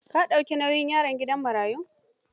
Ka dauki nauyin yaron gidan marayun?